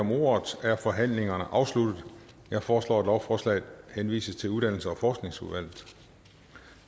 om ordet er forhandlingen afsluttet jeg foreslår at lovforslaget henvises til uddannelses og forskningsudvalget